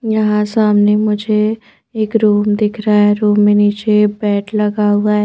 यहाँ सामने मुझे एक रूम दिख रहा हैं रूम में नीचे एक बेड लगा हुआ--